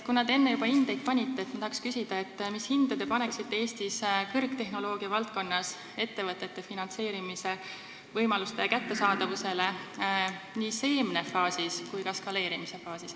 Kuna te enne juba hindeid panite, siis ma küsin, mis hinde te paneksite Eestis kõrgtehnoloogia valdkonnas ettevõtete finantseerimise võimaluste kättesaadavusele nii seemnefaasis kui ka eskaleerimise faasis.